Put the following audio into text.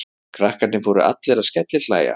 Krakkarnir fóru allir að skellihlæja.